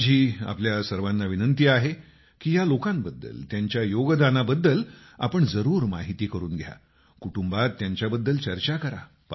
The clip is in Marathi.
माझा आपल्या सर्वांना विनंती आहे की या लोकांबद्दल त्यांच्या योगदानाबद्दल आपण जरूर माहिती करून घ्या कुटुंबात त्यांच्याबद्दल चर्चा करा